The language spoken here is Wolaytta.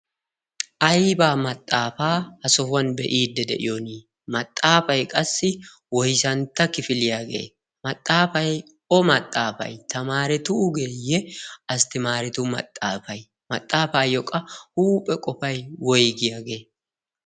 Aybaa maxaafaa ha sohuwan be'iidde de'iyoni maxaafay qassi woysantta kifiliyaagee maxaafay o maxaafay tamaaretuugeeyye asttimaaretu maxaafay maxaafaayyoqqa huuphe qofay woygiyaagee?